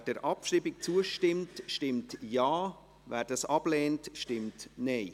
Wer die Ziffer 1 abschreiben will, stimmt Ja, wer dies ablehnt, stimmt Nein.